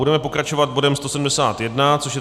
Budeme pokračovat bodem 171, což je